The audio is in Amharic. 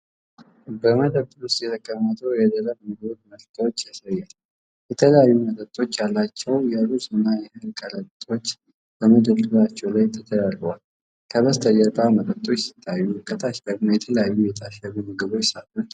በመደብር ውስጥ የተቀመጡ የደረቅ ምግብ ምርቶችን ያሳያል። የተለያዩ መጠኖች ያላቸው የሩዝና የእህል ከረጢቶች በመደርደሪያዎች ላይ ተደራርበዋል። ከበስተጀርባ መጠጦች ሲታዩ፣ ከታች ደግሞ የተለያዩ የታሸጉ ምግቦችና ሳጥኖች አሉ።